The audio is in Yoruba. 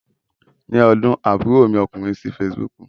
Ni ọdún, àbúrò mi ọkùnrin sí Fesibúùkù.